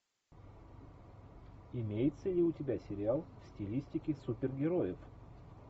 имеется ли у тебя сериал в стилистике супергероев